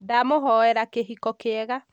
ndamũhoera kĩhiko kiega